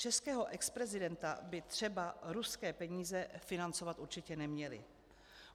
Českého exprezidenta by třeba ruské peníze financovat určitě neměly.